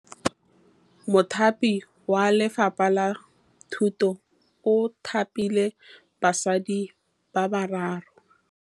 Mothapi wa Lefapha la Thutô o thapile basadi ba ba raro.